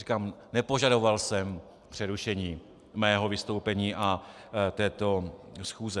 Říkám, nepožadoval jsem přerušení svého vystoupení a této schůze.